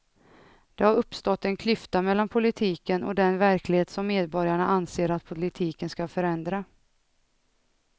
Det har uppstått en klyfta mellan politiken och den verklighet som medborgarna anser att politiken ska förändra.